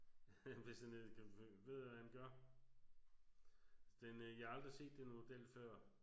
Hvis han ellers kan ved hvad han gør. Den øh jeg har aldrig set den model før